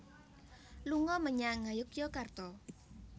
Lunga menyang Ngayogyakarta